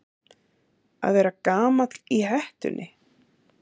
Að vera gamall í hettunni